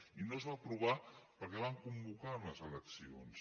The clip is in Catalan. i no es va aprovar perquè van convocar unes eleccions